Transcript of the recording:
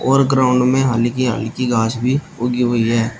और ग्राउंड में हल्की हल्की घास भी उगी हुई है।